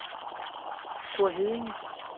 Store Heddinge